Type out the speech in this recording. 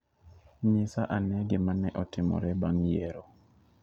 Nyisa ane gima ne otimore bang' yiero.